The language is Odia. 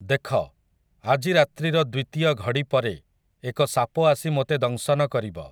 ଦେଖ, ଆଜି ରାତ୍ରିର ଦ୍ୱିତୀୟ ଘଡ଼ି ପରେ ଏକ ସାପ ଆସି ମୋତେ ଦଂଶନ କରିବ ।